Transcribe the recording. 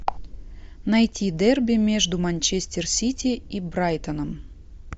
найти дерби между манчестер сити и брайтоном